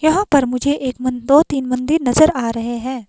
यहां पर मुझे एक मं दो तीन मंदिर नजर आ रहे है।